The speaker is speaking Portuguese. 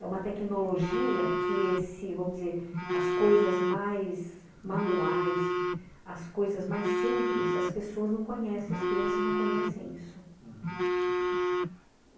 É uma tecnologia que esse, vamos dizer, as coisas mais manuais, as coisas mais simples, as pessoas não conhecem, as crianças não conhecem isso.